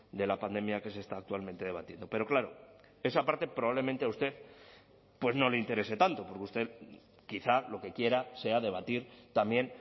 de la pandemia que se está actualmente debatiendo pero claro esa parte probablemente a usted pues no le interese tanto porque usted quizá lo que quiera sea debatir también